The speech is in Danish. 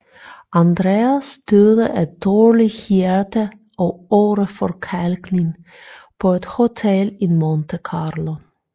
Andreas døde af dårligt hjerte og åreforkalkning på et hotel i Monte Carlo